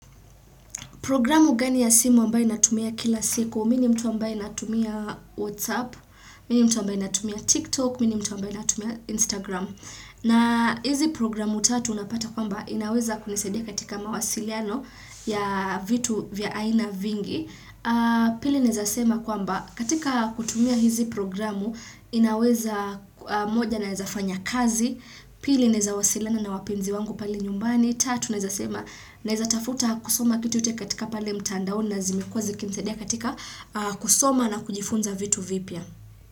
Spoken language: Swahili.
Programu gani ya simu ambayo natumia kila siku, mimi ni mtu ambaye natumia Whatsapp, mimi ni mtu ambaye natumia TikTok, mimi ni mtu ambaye natumia Instagram. Na hizi programu tatu unapata kwamba inaweza kunisaidia katika mawasiliano ya vitu vya aina vingi. Pili ninaweza sema kwamba katika kutumia hizi programu inaweza moja naeza fanya kazi, pili ninaweza wasiliana na wapenzi wangu pale nyumbani, tatu naweza sema naweza tafuta kusoma kitu hata katika pale mtandao na zimekuwa zikinisaidia katika kusoma na kujifunza vitu vipya.